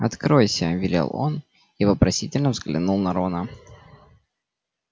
откройся велел он и вопросительно взглянул на рона